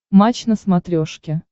матч на смотрешке